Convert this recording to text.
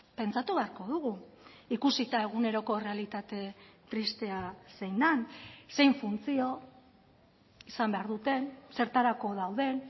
pentsatu beharko dugu ikusita eguneroko errealitate tristea zein den zein funtzio izan behar duten zertarako dauden